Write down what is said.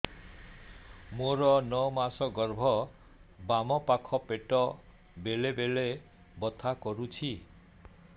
ମୋର ନଅ ମାସ ଗର୍ଭ ବାମ ପାଖ ପେଟ ବେଳେ ବେଳେ ବଥା କରୁଛି